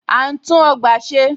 À ń tún ọgbà ṣe.